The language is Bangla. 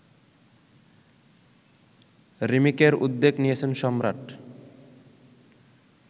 রিমেকের উদ্যোগ নিয়েছেন সম্রাট